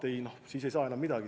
Siis ei saa enam midagi.